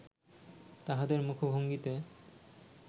তাহাদের মুখভঙ্গিতে